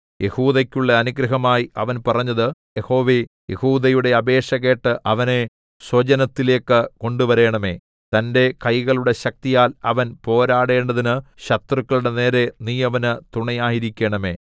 യെഹൂദയ്ക്കുള്ള അനുഗ്രഹമായി അവൻ പറഞ്ഞത് യഹോവേ യെഹൂദയുടെ അപേക്ഷ കേട്ട് അവനെ സ്വജനത്തിലേക്കു കൊണ്ടുവരണമേ തന്റെ കൈകളുടെ ശക്തിയാൽ അവൻ പോരാടേണ്ടതിന് ശത്രുക്കളുടെ നേരെ നീ അവന് തുണയായിരിക്കണമേ